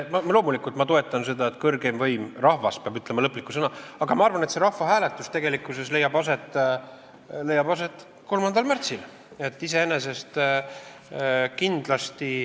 Loomulikult ma toetan seda, et kõrgeim võim, rahvas, peab ütlema lõpliku sõna, aga ma arvan, et see rahvahääletus tegelikkuses leiab aset 3. märtsil.